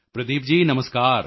Pradeep ji Namaskar